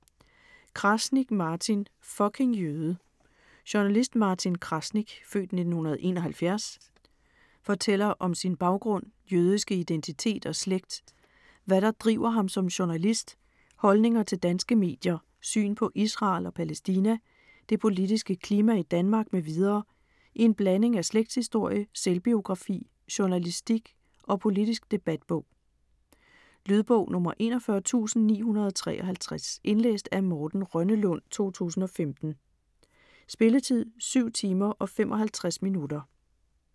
Krasnik, Martin: Fucking jøde! Journalist Martin Krasnik (f. 1971) fortæller om sin baggrund, jødiske identitet og slægt, hvad der driver ham som journalist, holdninger til danske medier, syn på Israel og Palæstina, det politiske klima i Danmark m.v. i en blanding af slægtshistorie, selvbiografi, journalistisk og politisk debatbog. Lydbog 41953 Indlæst af Morten Rønnelund, 2015. Spilletid: 7 timer, 55 minutter.